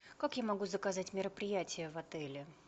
как я могу заказать мероприятие в отеле